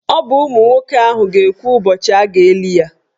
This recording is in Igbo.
Ọ bụ ụmụ nwoke ahụ ga-ekwu ụbọchị a ga-eli ya.